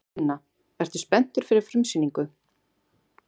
Sunna: Ertu spenntur fyrir frumsýningu?